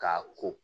K'a ko